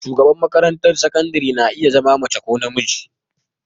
Shugaba a makarantar sakandare na iya zama mace ko namiji.